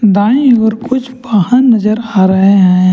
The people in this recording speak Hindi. दाई ओर कुछ पहाड़ नजर आ रहे हैं।